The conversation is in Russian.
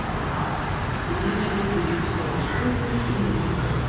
третью переписал условия и немножко